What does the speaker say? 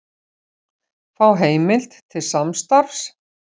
Fá heimild til samstarfs